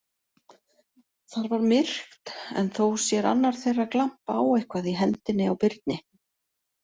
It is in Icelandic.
Þar var myrkt, en þó sér annar þeirra glampa á eitthvað í hendinni á Birni.